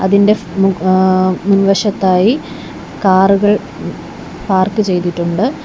ഇതിൻ്റെ ഫ് മ് ആ മുൻവശത്തായി കാറുകൾ പാർക്ക് ചെയ്തിട്ടുണ്ട്.